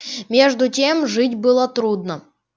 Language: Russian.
между тем жить было трудно